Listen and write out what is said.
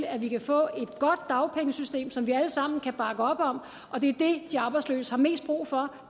at vi kan få et godt dagpengesystem som vi alle sammen kan bakke op om og det er det de arbejdsløse har mest brug for